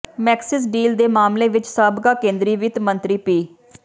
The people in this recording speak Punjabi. ਮੈਕਸਿਸ ਡੀਲ ਦੇ ਮਾਮਲੇ ਵਿੱਚ ਸਾਬਕਾ ਕੇਂਦਰੀ ਵਿੱਤ ਮੰਤਰੀ ਪੀ